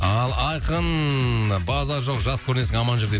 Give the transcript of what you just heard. ал айқын базар жоқ жас көрінесің аман жүр дейді